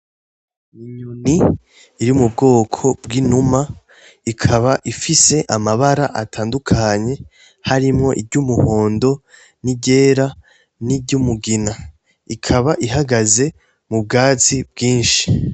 Inyoni iri mu bwoko bw’inuma ikaba ifise amabara atandukanye harimwo iry’umuhondo n’iryera ,n’iry’umugina. Ikaba ihagaze mu bwatsi bwinshi.